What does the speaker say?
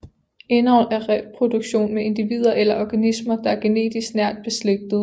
Indavl er reproduktion med individer eller organismer der er genetisk nært beslægtede